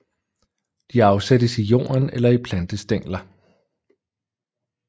De afsættes i jorden eller i plantestængler